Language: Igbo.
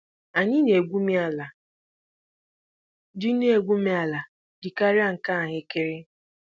Anyị na-égwumi ala ji na-égwumi ala ji karịa nke ahụekere